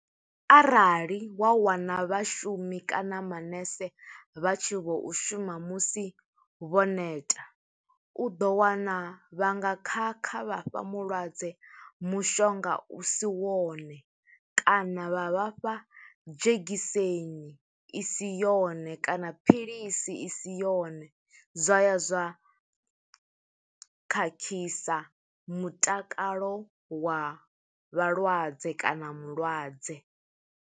Arali wa wana vhashumi kana manese vha tshi vho u shuma musi vho neta, u ḓo wana vha nga khakha, vha fha mulwadze mushonga u si wone, kana vha vha fha dzhegiseni i si yone, kana philisi i si yone. Zwa ya zwa khakhisa mutakalo wa vhalwadze, kana mulwadze.